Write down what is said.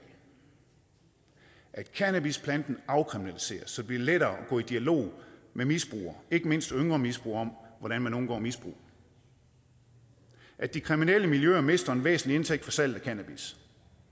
at cannabisplanten afkriminaliseres så det bliver lettere at gå i dialog med misbrugere ikke mindst yngre misbrugere om hvordan man undgår misbrug at de kriminelle miljøer mister en væsentlig indtægt fra salget af cannabis